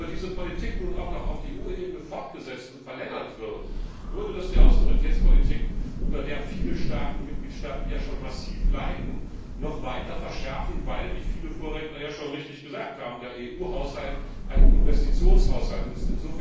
Wenn aber diese Politik nun auch noch auf EU Ebene fortgesetzt und verlängert wird, würde das die Austeritätspolitik, unter der viele Mitgliedstaaten ja schon massiv leiden, noch weiter verschärfen, weil, wie viele Vorredner ja schon richtig gesagt haben, der EU Haushalt ein Investitionshaushalt ist.